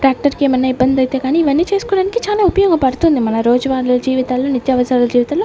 tractor కి ఏమి అయిన ఇబ్బంది అయితే కానీ ఇవి అన్నీ చేసుకోవడానికీ చాలా ఉపయోగపడుతుంది మన రోజువారి జీవితాల్లో నిత్య అవసరాల జీవితాల్లో --